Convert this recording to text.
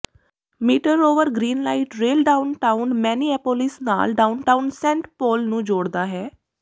metre ਰੋਵਰ green light rail downtown Minneapolis ਨਾਲ downtown Saint Paul ਨੂੰ ਜੋੜਦਾ ਹੈ